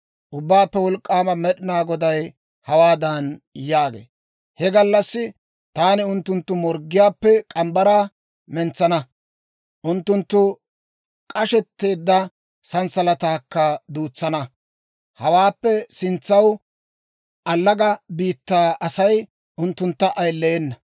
Ubbaappe Wolk'k'aama Med'inaa Goday hawaadan yaagee; «He gallassi taani unttunttu morggiyaappe morgge mitsaa mentsana; unttunttu k'ashetteedda sanssalataakka duutsana. Hawaappe sintsanaw allaga biittaa Asay unttuntta ayileyena.